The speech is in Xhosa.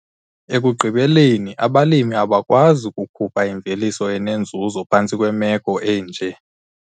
Ekugqibeleni abalimi abakwazi kukhupha imveliso enenzuzo phantsi kwemeko enje!